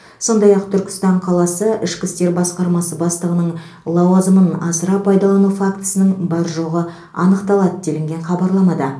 сондай ақ түркістан қаласы ішкі істер басқармасы бастығының лауазымын асыра пайдалану фактісінің бар жоғы анықталады делінген хабарламада